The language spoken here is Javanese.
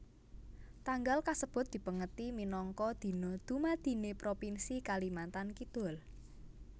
Tanggal kasebut dipèngeti minangka Dina Dumadiné Propinsi Kalimantan Kidul